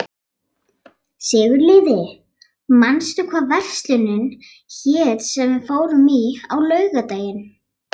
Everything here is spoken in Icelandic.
Sigurliði, manstu hvað verslunin hét sem við fórum í á laugardaginn?